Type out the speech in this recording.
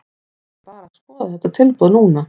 Við erum bara að skoða þetta tilboð núna.